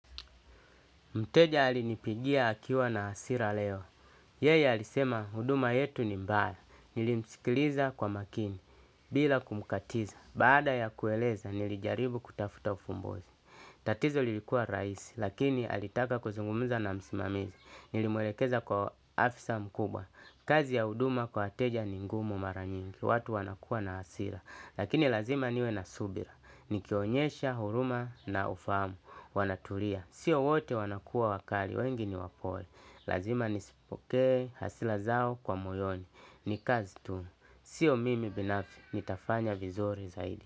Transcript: Mteja alinipigia akiwa na asira leo. Yeye alisema huduma yetu ni mbaya. Nilimsikiliza kwa makini bila kumkatiza. Baada ya kueleza nilijaribu kutafuta ufumbuzi. Tatizo lilikua rahisi, lakini alitaka kuzungumuza na msimamizi. Nilimwelekeza kwa afisa mkubwa. Kazi ya huduma kwa wateja ni ngumu maranyingi. Watu wanakua na hasira. Lakini lazima niwe na subira. Nikionyesha, huruma na ufahamu. Wanaturia. Sio wote wanakua wakali. Wengi ni wapole. Lazima nisipokee hasila zao kwa moyoni. Nikazi tu. Sio mimi binafsi. Nitafanya vizuri zaidi.